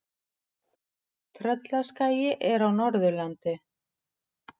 Tröllaskagi er á Norðurlandi.